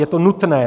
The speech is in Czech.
Je to nutné.